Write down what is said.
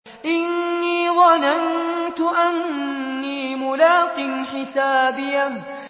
إِنِّي ظَنَنتُ أَنِّي مُلَاقٍ حِسَابِيَهْ